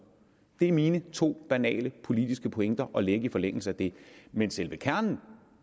det er mine to banale politiske pointer at lægge i forlængelse af det men selve kernen